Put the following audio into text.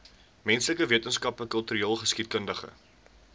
menslike wetenskappe kultureelgeskiedkundige